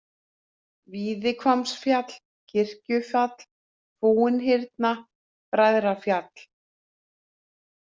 Víðihvammsfjall, Kirkjufjall, Fúinhyrna, Bræðrafjall